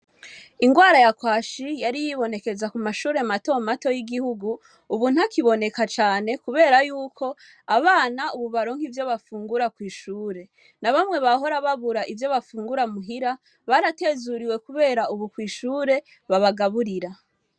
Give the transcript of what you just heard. Ingwara ya kwashi yari yibonekeza mu mashure matomato yigihugu ubu ntakiboneka cane kubera yuko abana baronka ivyo bafungura kwishure nabamwe bahora byabura ivyo bafungura murugo baratezuriwe kubera kwishure babagaburira.